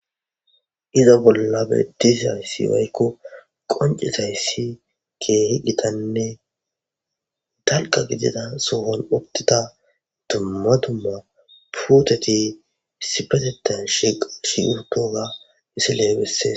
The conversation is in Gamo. Iza bolla betizayisi woyiko qoncidayisi kehi gitanne dalga gidida sohon utida duma duma puteti issippetetani shiqidi utidoga misile besees